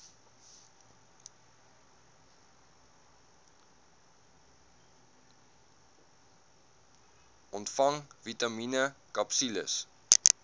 ontvang vitamien akapsules